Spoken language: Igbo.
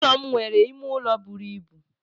Ulo m nwere ime ụlọ buru ibu.